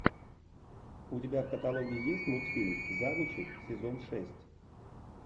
у тебя в каталоге есть мультфильм завучи сезон шесть